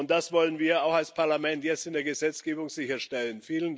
Und das wollen wir auch als Parlament jetzt in der Gesetzgebung sicherstellen.